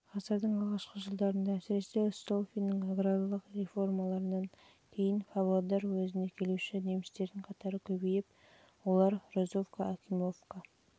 ғасырдың алғашқы жылдарында әсіресе столыпиннің аграрлық реформаларынан кейін павлодар уезіне келуші немістердің қатары көбейіп олар розовка акимовка